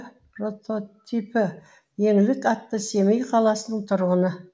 прототипі еңлік атты семей қаласының тұрғыны